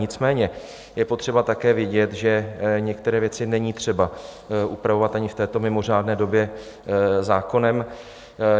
Nicméně je potřeba také vědět, že některé věci není třeba upravovat ani v této mimořádné době zákonem.